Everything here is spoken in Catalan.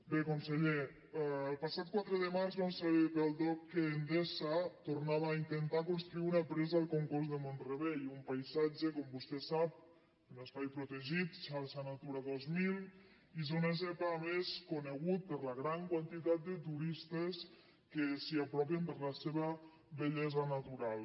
bé conseller el passat quatre de març vam saber pel dogc que endesa tornava a intentar construir una presa al congost de mont rebei un paisatge com vostè sap un espai protegit xarxa natura dos mil i zona zepa a més conegut per la gran quantitat de turistes que s’hi apropen per la seva bellesa natural